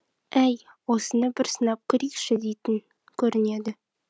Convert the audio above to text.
әй осыны бір сынап көрейікші дейтін көрінеді